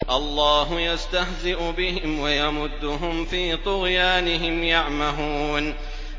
اللَّهُ يَسْتَهْزِئُ بِهِمْ وَيَمُدُّهُمْ فِي طُغْيَانِهِمْ يَعْمَهُونَ